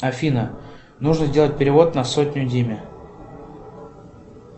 афина нужно сделать перевод на сотню диме